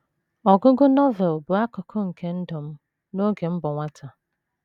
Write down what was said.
Ọgụgụ Novel bụ akụkụ nke ndụ m n’oge m bụ nwata.